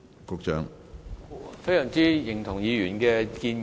我非常認同議員的建議。